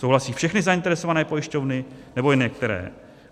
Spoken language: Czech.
Souhlasí všechny zainteresované pojišťovny, nebo jen některé?